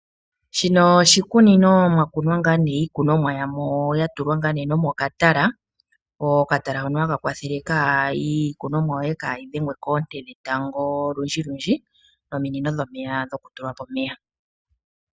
Shino oshikunino mwakunwa iikunumwa yakunwa mokatala opo kayi dhengwe koonte dhetango odhindji noopaipi dhomeya dhoka hadhi tekele iimeno.